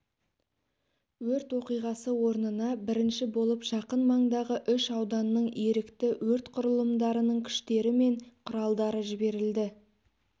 өрт оқиғасы орнына бірінші болып жақын маңдағы үш ауданның ерікті өрт құрылымдарының күштері мен құралдары жіберілді